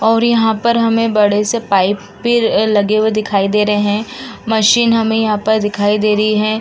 और यहां पर हमें बड़े से पाइप भी लगे हुए देख रहे हैं मशीन हमें यहाँ पर दिखाई दे रही हैं।